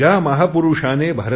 ज्या महापुरुषाने